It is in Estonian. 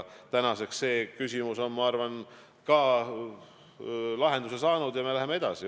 Tänaseks see küsimus on, ma arvan, lahenduse saanud ja me läheme edasi.